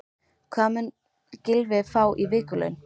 Hvað mun Gylfi fá í vikulaun?